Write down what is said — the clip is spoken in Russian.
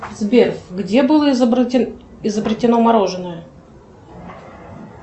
сбер где было изобретено мороженое